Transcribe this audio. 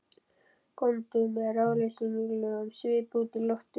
Góndu með ráðleysislegum svip út í loftið.